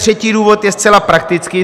Třetí důvod je zcela praktický.